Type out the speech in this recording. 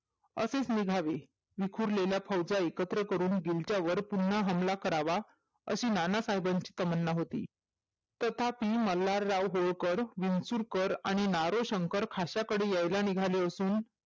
असेच निघावे विखुरलेल्या फौजा एकत्र करून दिल्लीच्यावर पुन्हा हल्ला करावा असे नानासाहेबांची तमन्ना होती तथापि मल्हारराव होळकर विचूळकर आणि नारोशंकर खासाकडे यायला निघाली होती